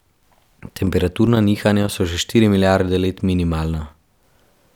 Temperaturna nihanja so že štiri milijarde let minimalna.